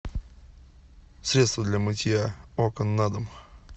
средство для мытья окон на дом